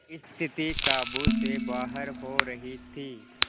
स्थिति काबू से बाहर हो रही थी